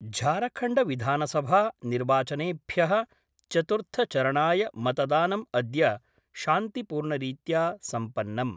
झारखण्डविधानसभा निर्वाचनेभ्य: चतुर्थचरणाय मतदानम् अद्य शान्तिपूर्णरीत्या सम्पन्नम्।